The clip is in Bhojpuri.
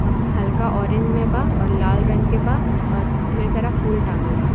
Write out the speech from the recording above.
आ हल्का ऑरेंज में बा और लाल रंग के बा और ढेर सारा फूल टांगल बा।